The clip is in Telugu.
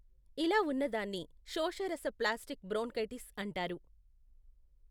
ఇలా ఉన్నదాన్ని శోషరస ప్లాస్టిక్ బ్రోన్కైటిస్ అంటారు.